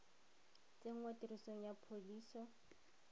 tsenngwa tirisong ga pholisi e